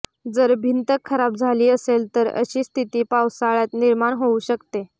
जर भिंत खराब झाली असेल तर अशी स्थिती पावसाळ्यात निर्माण होऊ शकते